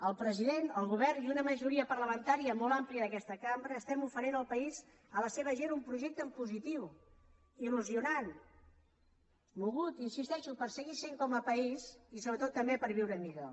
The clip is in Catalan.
el president el govern i una majoria parlamentària molt àmplia d’aquesta cambra estem oferint al país a la seva gent un projecte en positiu il·hi insisteixo per seguir sent com a país i sobretot també per viure millor